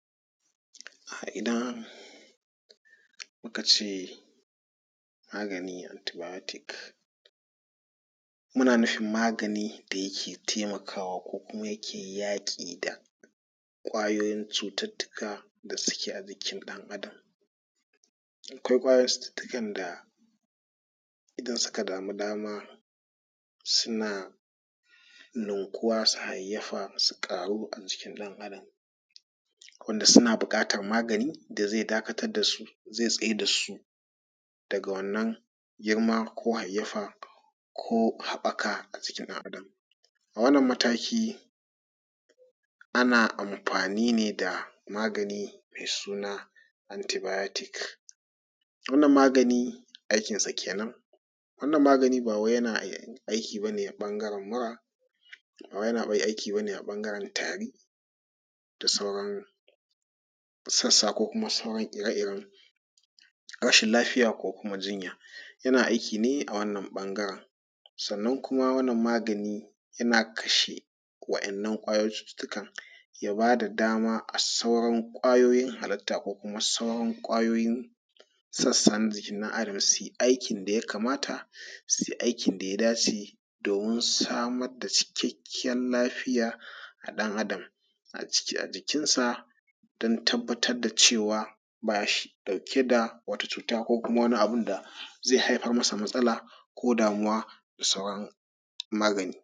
Idan muka ce magani antibiotics muna nufin magani da yake taimakawa ko kuma yake yaki da ƙwayoyin cutar da suke a jikin ɗan Adam. Akwai ƙwayoyin cututtukan da isan suka sama da suna nunkuwa su hayayyafa su ƙaru a jikin ɗan Adam abun da suna buƙatar magani wanda zai dakatar da su zai tsayar da su daga wannan girma ko hayayyafa ko haɓaka a jikin ɗan Adam. A wannan mataki ana amfani ne da magani mai suna antibiotics, wannan magani aikinsa kenan. Wannan mGani ba wai yana amsani ne a ɓangern mura ba wai yana aiki ba ne a ɓangaren tari sassa ko sauran ire-iren rashin lafiya ko kuma jinya yana aiki ne a wannan ɓangaren. Sannan kuma wannan magani yana kasahe waɗannan ƙwayoyin cututtukan ya ba da adama a sauran kwayoyin halittan ko sauran ƙwayoyin sassan jikin ɗan Adam su yi aikin da ya dace domin su samar da cikakkiyar lafiya a ɗan Adam a ciki a jikinsa don tabbatar da cewa ba shi dauke da wata cuta ko wani abun da zai zama masa matsala ko damuwa da sauran magani.